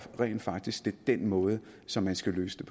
rent faktisk det den måde som man skal løse